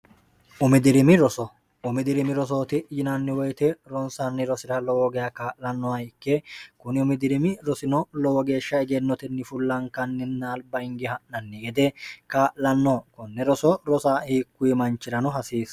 umidirimi rosoumidirimi rosooti yinanni woyite ronsanni rosi'ra lowo gea kaa'lannoha ikke kuni umidirimi rosino lowo geeshsha egennotenni fullaankanninna alba inge ha'nanni yede kaa'lanno konne roso rosa hiikkuyi manchirano hasiissa